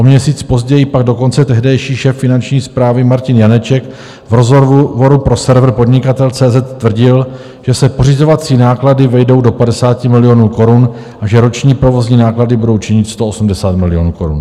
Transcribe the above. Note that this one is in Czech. O měsíc později pak dokonce tehdejší šéf finanční správy Martin Janeček v rozhovoru pro server Podnikatel.cz tvrdil, že se pořizovací náklady vejdou do 50 milionů korun a že roční provozní náklady budou činit 180 milionů korun.